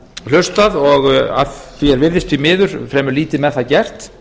hlustað og að því er virðist því miður fremur lítið með það gert